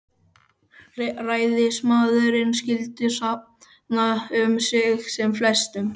Ræðismaðurinn skyldi safna um sig sem flestum